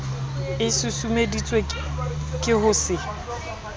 e susumeditswe ke ho se